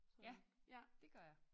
Ja dét gør jeg